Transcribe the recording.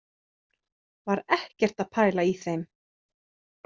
Var ekkert að pæla í þeim.